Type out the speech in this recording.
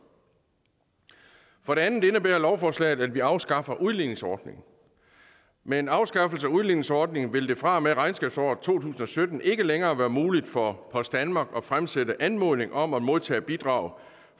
for det andet indebærer lovforslaget at vi afskaffer udligningsordningen med en afskaffelse af udligningsordningen vil det fra og med regnskabsåret to tusind og sytten ikke længere være muligt for post danmark at fremsætte en anmodning om at modtage bidrag